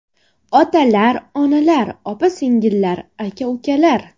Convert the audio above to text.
Otalar, onalar, opa-singillar, aka-ukalar!